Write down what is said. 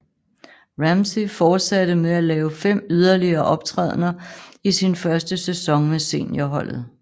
Ramsay fortsatte med at lave fem yderligere optrædener i sin første sæson med seniorholdet